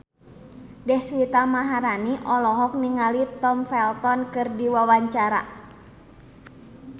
Deswita Maharani olohok ningali Tom Felton keur diwawancara